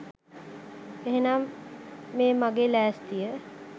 එහෙමනම් මේ මගේ ලෑස්තිය